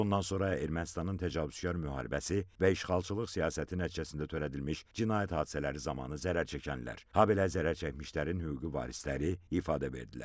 Bundan sonra Ermənistanın təcavüzkar müharibəsi və işğalçılıq siyasəti nəticəsində törədilmiş cinayət hadisələri zamanı zərər çəkənlər, habelə zərərçəkmişlərin hüquqi varisləri ifadə verdilər.